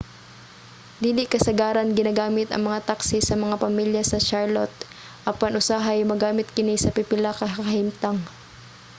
dili kasagaran ginagamit ang mga taxi sa mga pamilya sa charlotte apan usahay magamit kini sa pipila ka kahimtang